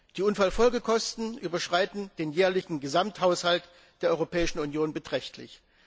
Die Unfallfolgekosten überschreiten den jährlichen Gesamthaushalt der Europäischen Union beträchtlich.